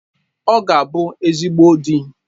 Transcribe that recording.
Ọ ga-abụ ezigbo di